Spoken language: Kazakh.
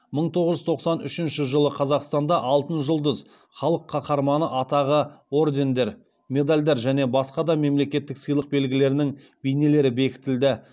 мың тоғыз жүз тоқсан үшінші жылы қазақстанда алтын жұлдыз халық қаһарманы атағы ордендер медальдар және басқа да мемлекеттік сыйлық белгілерінің бейнелері бекітілді